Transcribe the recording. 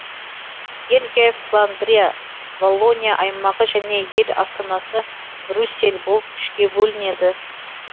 бельгия фландрия валлония аймағы және ел астанасы брюссель болып үшке бөлінеді